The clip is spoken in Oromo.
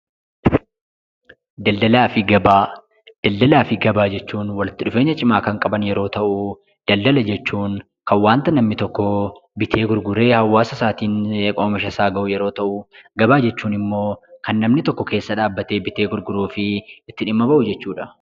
Daldalaa fi gabaa; Daldalaa fi gabaa jechuun walitti dhufeenya cimaa kan qaban yeroo ta'u, daldala jechuun kan waanta namni tokko bitee gurguree hawaasa isaatiin oomisha isaa ga'u yeroo ta'u, gabaa jechuun immoo kan namni tokko keessa dhaabbatee bitee gurguruu fi itti dhimma ba'u jechuu dha.